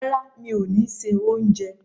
Rárá, mi ò ni se oúnjẹ.